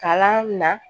Kalan na